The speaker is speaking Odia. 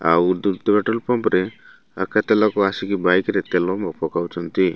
ଆଉ ଦୁର୍ ଦୁର୍ ହାଟ ପମ୍ପ୍ ରେ ଆ କେତେଲୋକ ଆସିକି ବାଇକ୍ ରେ ତେଲ ମ ପକାଉଚନ୍ତି।